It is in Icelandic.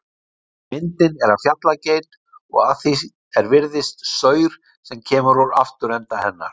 Myndin er af fjallageit og að því er virðist, saur sem kemur úr afturenda hennar.